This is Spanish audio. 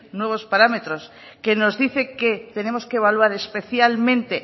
nuevos parámetros que nos dice que tenemos que evaluar especialmente